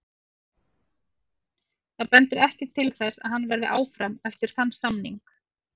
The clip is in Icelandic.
Það bendir ekkert til þess að hann verði áfram eftir þann samning.